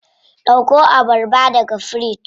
Dauko abarba daga firiji.